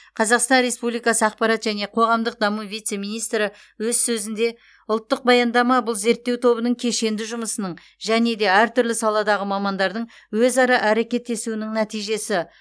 қазақстан республикасы ақпарат және қоғамдық даму вице министрі өз сөзінде ұлттық баяндама бұл зерттеу тобының кешенді жұмысының және де әртүрлі саладағы мамандардың өзара әрекеттесуінің нәтижесі